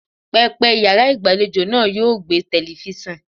Pẹpẹ yàrá ìgbàlejò náà yóò gbẹ́ telifíṣàn.